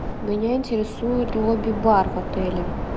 меня интересует лоби бар в отеле